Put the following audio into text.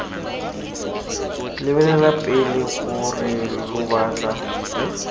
lebelela pele gore lo batla